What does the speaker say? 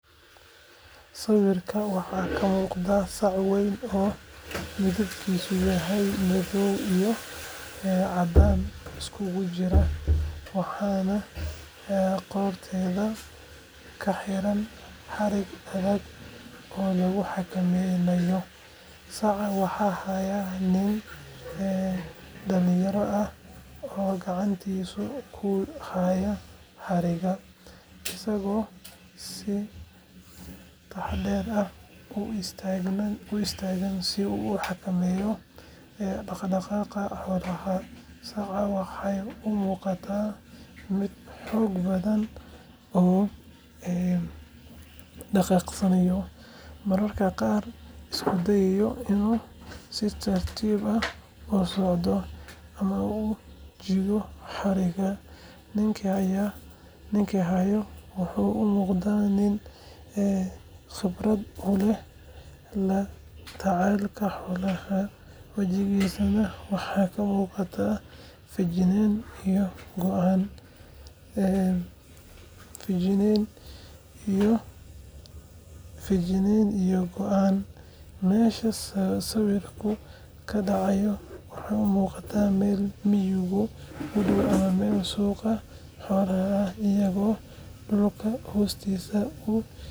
Sawirka waxaa ka muuqda sac weyn oo midabkiisu yahay madow iyo caddaan isugu jira, waxaana qoorteeda ka xiran xarig adag oo lagu xakameynayo. Saca waxaa haya nin dhallinyaro ah oo gacantiisa ku haya xarigga, isagoo si taxaddar leh u istaagay si uu u xakameeyo dhaqdhaqaaqa xoolaha. Sacda waxay u muuqataa mid xoog badan oo dhaqaaqeysa, mararka qaarna isku deyeysa inay si tartiib ah u socoto ama u jiido xarigga. Ninkii haya wuxuu u muuqdaa mid khibrad u leh la tacaalida xoolaha, wajigiisana waxaa ka muuqda feejignaan iyo go’aan. Meesha sawirku ka dhacay wuxuu u muuqdaa meel miyiga u dhow ama meel suuqa xoolaha ah, iyadoo dhulka hoostiisa uu yahay.